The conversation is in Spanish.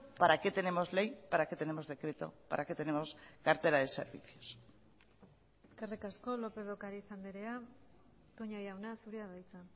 para qué tenemos ley para qué tenemos decreto para qué tenemos cartera de servicios eskerrik asko lópez de ocariz andrea toña jauna zurea da hitza